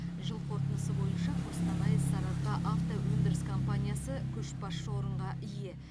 жыл қорытындысы бойынша қостанай сарыарқаавтоөндіріс компаниясы көшбасшы орынға ие